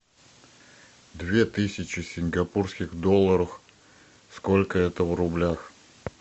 две тысячи сингапурских долларов сколько это в рублях